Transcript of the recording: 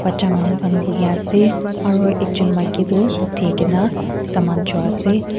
cha manu khan buhiase aro ekjon maki toh uthi kaena saman choiase.